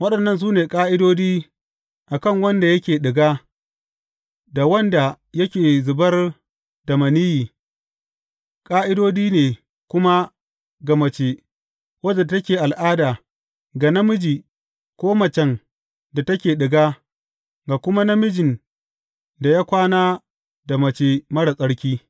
Waɗannan su ne ƙa’idodi a kan wanda yake ɗiga, da wanda yake zubar da maniyyi, ƙa’idodi ne kuma ga mace wadda take al’ada, ga namiji ko macen da take ɗiga, ga kuma namijin da ya kwana da mace marar tsarki.